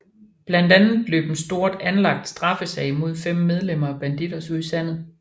Blandt andet løb en stort anlagt straffesag mod fem medlemmer af Bandidos ud i sandet